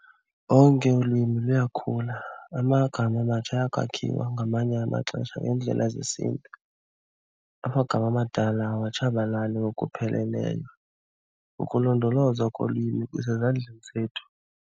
Onke ulwimi luyakhula, amagama amatsha ayakwakhiwa ngamanye amaxesha ngendlela zesintu. Amagama amadala awatshabalali ngokupheleleyo, ukulondolozwa kolwimi kusezandleni zethu.